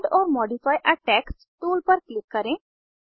add or modify आ text tool पर click करें